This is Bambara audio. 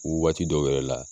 waati dɔw yɛrɛ la